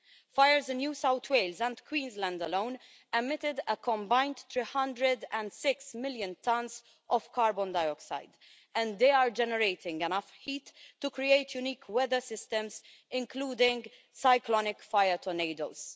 Fires in New South Wales and Queensland alone emitted a combined 306 million tonnes of carbon dioxide and they are generating enough heat to create unique weather systems, including cyclonic fire tornados.